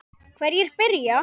Hverjir byrja?